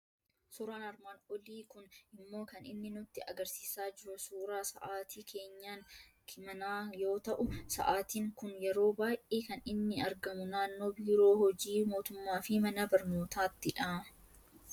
Suuraan armaan olii kun immoo kan inni nutti argisiisaa jiru suuraa sa'aatii keenyan manaa yoo ta'u, Sa'aatiin kun yeroo baay'ee kan inni argamu naannoo biiroo hojii mootummaa fi mana barnootaattidha.